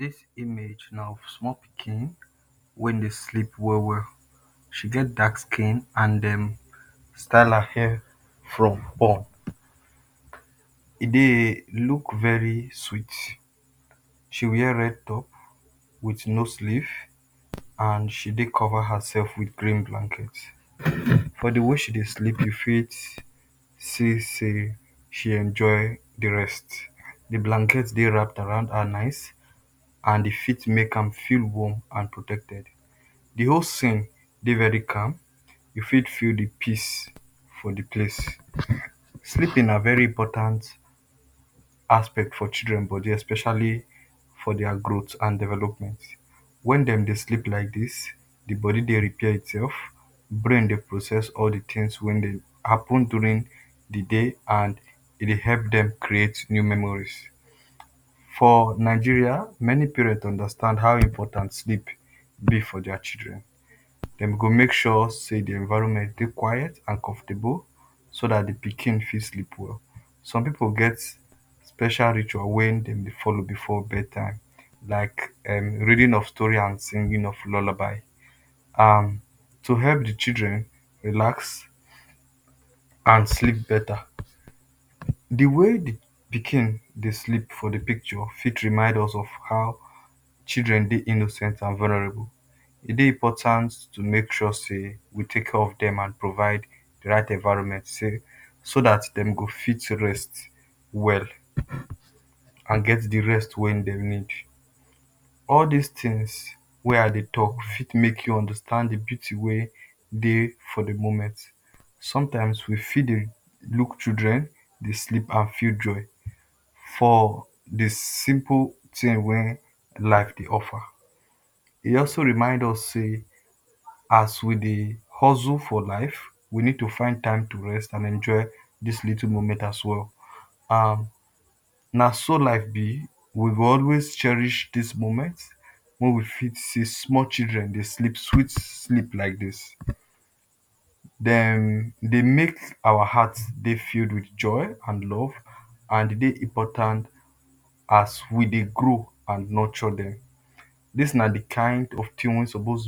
This image na small pikin wey dey sleep well well. She get dark skin and then style her hair from up. E dey look very sweet, she wear red top with no slieve and she dey cover herself with green blanket. For the way she dey sleep you fit see sey she enjoy the rest. The blanket dey round around her neck and the feet make am feel warm and protected. The whole scene dey very calm you fit feel the peace for the place. Sleeping na very important aspect for children body especially for their growth and development. When dem dey sleep like this, the body dey repair itself, brain dey process all the thing wey dey happen during the day and e dey help dem to create new memories. For Nigeria many parent understand how important sleep be for their children, dem go make sure sey the environment dey quit and comfortable so dat the pikin fit sleep well. Some pipu get special ritual wey dem dey follow before bed time like um reading of stories and singing of lullaby, um to help the children relax and sleep better The way the pikin dey sleep for the picture fit remind us of how children dey innocent and vulnerable, e de important to take care of dem and provide right environment sey so dat dem go fit rest well and get the rest wey dem need. All this things wey I dey talk fit make you understand the beauty wey dey for the moment. Sometime we fit dey look children dey sleep and feel joy for the simple thing wey life dey offer. E also remind us sey as we dey hustle for life we need to find time to rest and enjoy this little moment as well.[um] Na so life be, we go also cherish this moment wey we fit see small children dey sleep sweet sleep like this. Dem dey make our heart dey fill with joy and love and e dey important as we dey grow and nurture dem. This na the kind of thing wey suppose